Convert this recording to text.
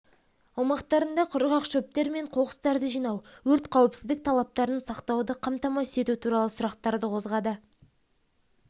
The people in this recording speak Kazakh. аумақтарында құрғақ шөптер мен қоқыстарды жинау өрт қауіпсіздік талаптарын сақтауды қамтамасыз ету туралы сұрақтарды қозғады